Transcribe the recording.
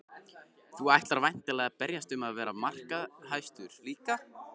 Þú ætlar væntanlega að berjast um að vera markahæstur líka?